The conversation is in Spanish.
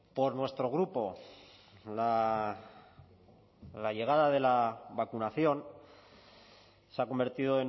por nuestro grupo la llegada de la vacunación se ha convertido